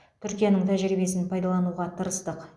түркияның тәжірибесін пайдалануға тырыстық